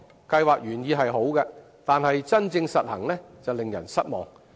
計劃原意雖好，但真正實行時卻令人失望。